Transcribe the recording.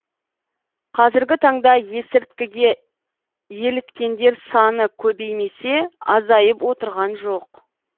қазіргі таңда есірткіге еліткендер саны көбеймесе азайып отырған жоқ